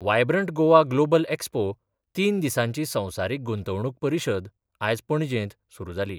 Vibrant Goa global expo तीन दिसांची संवसारीक गुंतवणूक परिशद आज पणजेंत सुरू जाली.